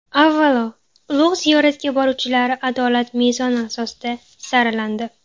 Avvalo, ulug‘ ziyoratga boruvchilar adolat mezoni asosida saralandi.